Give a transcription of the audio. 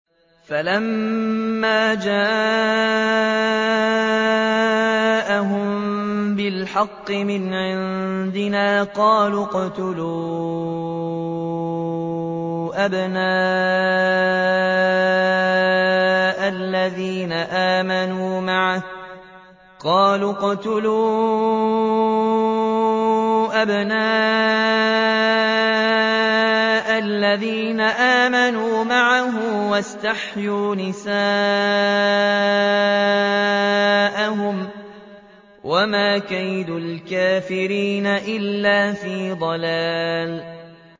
فَلَمَّا جَاءَهُم بِالْحَقِّ مِنْ عِندِنَا قَالُوا اقْتُلُوا أَبْنَاءَ الَّذِينَ آمَنُوا مَعَهُ وَاسْتَحْيُوا نِسَاءَهُمْ ۚ وَمَا كَيْدُ الْكَافِرِينَ إِلَّا فِي ضَلَالٍ